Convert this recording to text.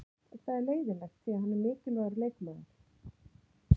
Það er leiðinlegt því hann er mikilvægur leikmaður.